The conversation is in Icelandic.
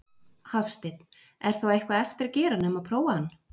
Hafsteinn: Er þá eitthvað eftir að gera nema prófa hann?